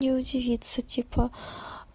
и удивиться типа